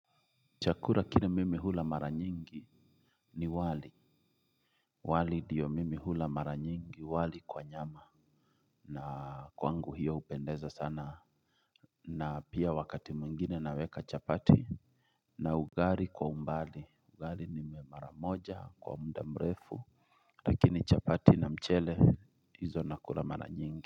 Chakura kile mimi hula mara nyingi. Ni wali. Wali ndio mimi hula mara nyingi wali kwa nyama. Na kwangu hiyo hupendeza sana. Na pia wakati mwingine naweka chapati. Na ugari kwa umbali ugari ni mara moja kwa muda mrefu. Lakini chapati na mchele hizo nakula mara nyingi.